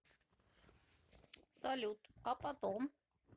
салют а потом